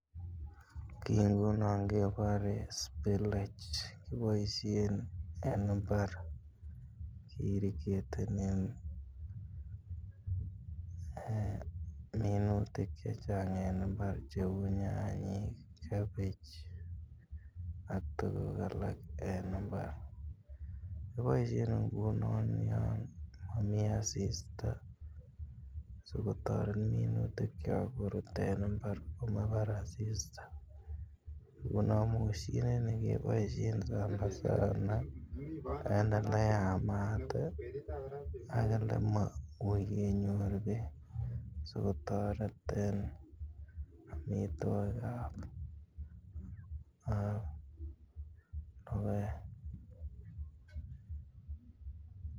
Kii ngunon kebore spillage kiboishen en imbar ke irrigetenen um minutik chechang en imbar che uu nyanyik, cabbage ak tuguk alak en imbar. Kiboishen ngunon yon momii asista sigotoret minutikyok korur en imbar komabar asista. Ngunon moshini nii keboishen sana sana en ele yamat ii ak ole mouii kenyor beek sigotoret en omitwokikab ab rubet.